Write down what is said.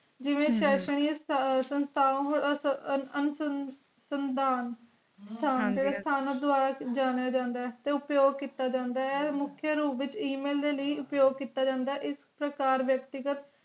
ਜਿਵੇ ਅਹ ਸ਼ੈਂਸਰੀਆਂ ਸੰਦਾਂ ਹਨ ਜੀ ਦਵਾਰੇ ਜਾਣਿਆ ਜਾਂਦਾ ਤੇ ਆਪਿਯੋਕ ਕੀਤਾ ਜਾਂਦਾ ਮੁਖਿਆ ਰੂਪ ਵਿਚ email ਦੇ ਲਾਇ ਆਪਿਯੋਕ ਕੀਤਾ ਜਾਂਦਾ ਐਸ ਪ੍ਰਕਾਰ ਦੇ ਵਿਅਕਤੀ ਸੰਦਾਂ